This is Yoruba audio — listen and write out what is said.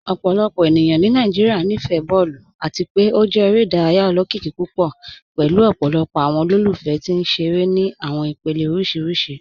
Ọpọlọpọ ènìyàn ni Nàìjíríà níí fẹ̀ bọọ̀lù, àti pe ó jẹ̀ èrè idáràyà ọlọ́kìíkì púpọ̀ pẹ̀lú ọpọlọpọ̀ awọn olólùfẹ̀ tì nṣerẹ̀rẹ̀ ni awọn ìpèlẹ̀ oríṣiríṣì.